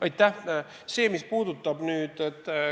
Aitäh!